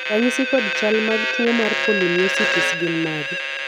ranyisi kod chal ag tuo mar polymyositis gin mage?